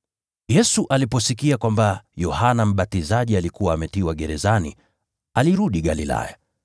Yesu aliposikia kwamba Yohana Mbatizaji alikuwa ametiwa gerezani, alirudi Galilaya.